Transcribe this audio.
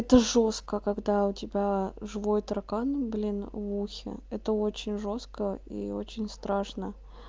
это жёстко когда у тебя живой таракан блин в ухе это очень жёстко и очень страшно